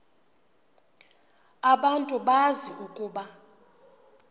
abantu bazi ukuba